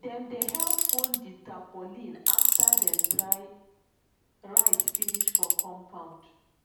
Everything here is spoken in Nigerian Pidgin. dem dey help fold di tarpaulin after dem dry rice finish for compound